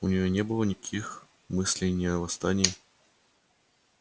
у неё не было никаких мыслей ни о восстании